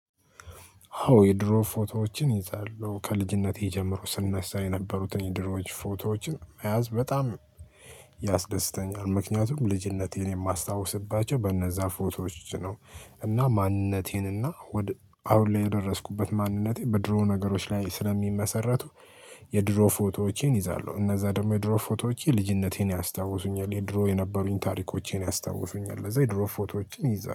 አዎ የድሮ ፎቶዎችን ይዛለሁ ከልጅነቴ ጀምሮ ስናሳ የነበሩትን የድሮዎች ፎቶዎችን መያዝ በጣም ያስደስተኛል። ምክንያቱም ልጅነቴን የማስታውስባቸው በነዛ ፎቶዎች ነው። እና ማንነቴን እና አሁን ላይ የደረስኩበት ማንነቴ በድሮ ነገሮች ላይ ስለሚመሰረቱ። የድሮ ፎቶዎቼን ይዛሉ እነዛ ደግሞ የድሮ ፎቶዎቼ ልጅነቴን ያስታውሱኛል። የድሮ የነበሩኝ ታሪኮቼን ያስታውሱኛል። ለዛ የድሮ ፎቶዎችን ይዛ